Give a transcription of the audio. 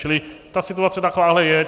Čili ta situace takováhle je.